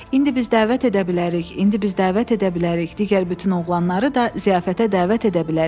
İndi biz dəvət edə bilərik, indi biz dəvət edə bilərik, digər bütün oğlanları da ziyafətə dəvət edə bilərik.